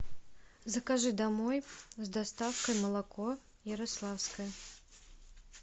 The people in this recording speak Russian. закажи домой с доставкой молоко ярославское